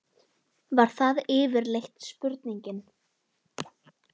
Var það yfirleitt spurningin.